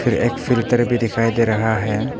एक फिल्टर भी दिखाई दे रहा है।